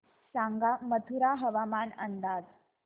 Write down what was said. सांगा मथुरा हवामान अंदाज